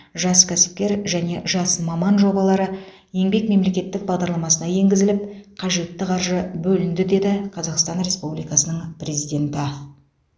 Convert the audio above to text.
жас кәсіпкер және жас маман жобалары еңбек мемлекеттік бағдарламасына енгізіліп қажетті қаржы бөлінді деді қазақстан республикасының президенті